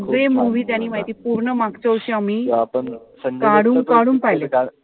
सगळे movie त्यांनी माहितीय पूर्ण मागच्या वर्षी आम्ही काढून-काढून पाहीले.